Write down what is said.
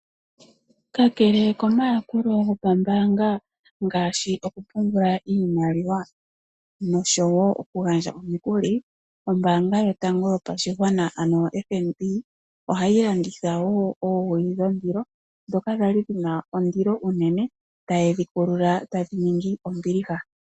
Kakele ko mayakulo go pambaanga ngaashi oku pungula iimaliwa noshowo okugandja omikuli ombaanga yotango yopashigwana ano FNB, ohayi landitha woo oowili dhondilo, ndhoka dhali dhina ondilo unene etayedhi kulula dhininge ombiliha.